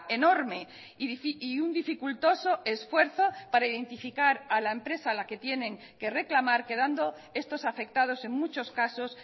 enorme y un dificultoso esfuerzo para identificar a la empresa a la que tienen que reclamar quedando estos afectados en muchos casos